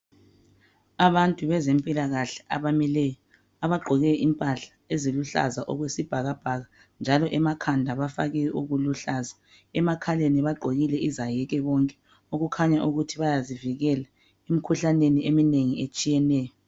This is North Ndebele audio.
Abantu bezempilakahle abamileyo bagqoke impahla eziluhlaza okwesibhakabhaka njalo emakhanda bafake okuluhlaza emakhaleni bagqokile izaheke bonke okukhanya ukuthi bayazivikela emkhuhlaneni eminengi etshiyeneyo.